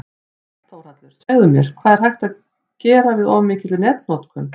Sæll Þórhallur, segðu mér, hvað er hægt að gera við of mikilli netnotkun?